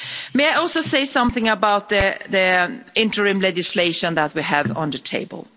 May I also say something about the interim legislation that we have on the table.